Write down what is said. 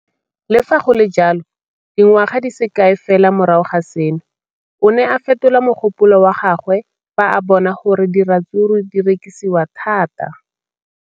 Le fa go le jalo, dingwaga di se kae fela morago ga seno, o ne a fetola mogopolo wa gagwe fa a bona gore diratsuru di rekisiwa thata.